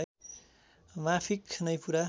माफिक नै पूरा